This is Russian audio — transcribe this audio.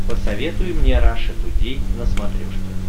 посоветуй мне раша тудей на смотрешке